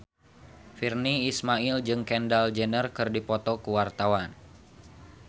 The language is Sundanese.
Virnie Ismail jeung Kendall Jenner keur dipoto ku wartawan